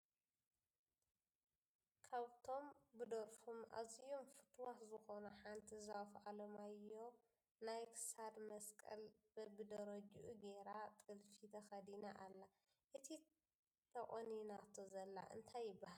ካብ ቶም ብደርፎም ኣዝዮም ፍትዋት ዝኮነት ሓንቲ ዛፉ ኣለማዮህ ናይ ክሳድ መስቀል በቢደረጅኡ ጌራ ጥልፊ ተከዲና ኣላ። እቲ ተቆኒናቶ ዘላ እንታይ ይበሃል ?